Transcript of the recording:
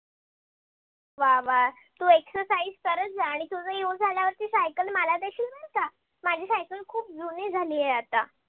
वा वा तू exercise करत जा आणि तुझा exercise झाल्यावरती cycle मला देशील बर का? माझी cycle खूप जुनी झाली आहे. आता